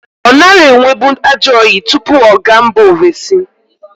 Ọ nara enwebu ajọyị tụpụ ọ ga mba ovesi.